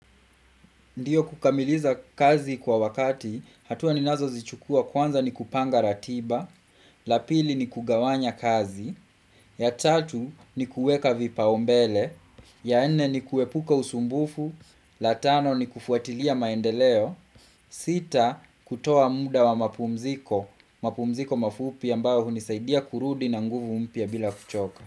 Ndiyo kukamiliza kazi kwa wakati, hatuwa ninazo zichukua kwanza ni kupanga ratiba, la pili ni kugawanya kazi, ya tatu ni kuweka vipaombele, ya ene ni kuepuka usumbufu, la tano ni kufuatilia maendeleo, sita kutoa muda wa mapumziko, mapumziko mafupi ambayo hunisaidia kurudi na nguvu mpya bila kuchoka.